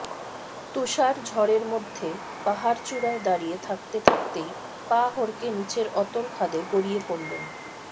তুষার ঝড়ের মধ্যে পাহাড়চূড়ায় দাঁড়িয়ে থাকতে থাকতেই পা হড়কে নীচের অতল খাদে গড়িয়ে পড়লেন